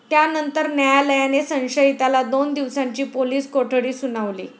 त्यानंतर न्यायालयाने संशयिताला दोन दिवसांची पोलीस कोठडी सुनावली.